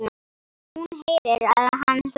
Hún heyrir að hann hlær.